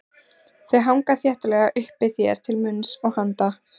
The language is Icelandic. Þau hanga þéttlega uppi þér til munns og handa.